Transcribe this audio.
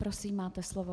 Prosím, máte slovo.